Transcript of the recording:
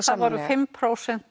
það voru fimm prósent